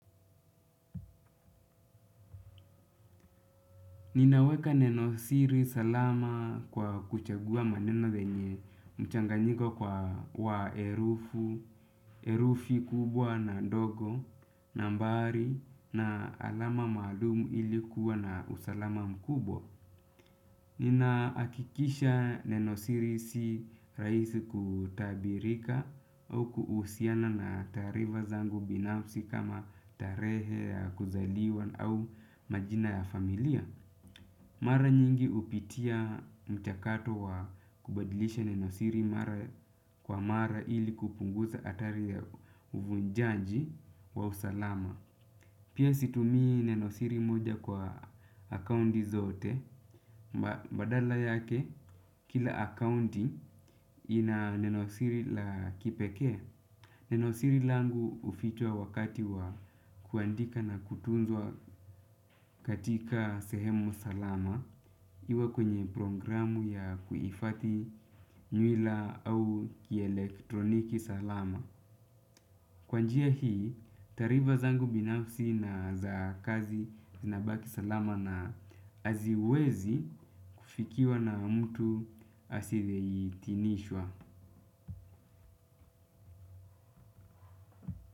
Ninaweka neno siri salama kwa kuchagua maneno yenye mchanganyiko wa herufi kubwa na ndogo, nambari na alama maalumu ilikuwa na usalama mkubwa. Ninahakikisha neno siri si rahisi kutabirika au kuhusiana na taarifa zangu binafsi kama tarehe ya kuzaliwa au majina ya familia. Mara nyingi hupitia mchakato wa kubadilisha neno siri mara kwa mara ili kupunguza hatari ya uvunjanji wa usalama. Pia situmii neno siri moja kwa akaunti zote. Badala yake, kila akaunti ina neno siri la kipekee. Neno siri langu hufichwa wakati wa kuandika na kutunzwa katika sehemu salama iwe kwenye programu ya kuifathi nywila au kielektroniki salama. Kwa njia hii, taarifa zangu binafsi na za kazi zinabaki salama na haziwezi kufikiwa na mtu asiyeidhinishwa.